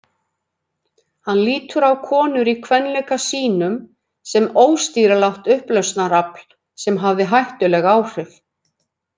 Hann lítur á konur í kvenleika sínum sem óstýrilátt upplausnarafl sem hafi hættuleg áhrif.